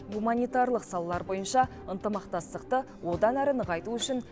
гуманитарлық салалар бойынша ынтымақтастықты одан әрі нығайту үшін